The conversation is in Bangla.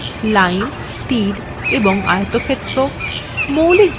কিছু মৌলিক আকৃতি যেমন lines তীর এবং আয়তক্ষেত্র